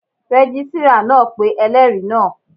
Rẹ́gísírà náà pé ẹlẹ́rìí náà